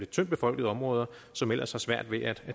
tyndtbefolkede områder som ellers har svært ved at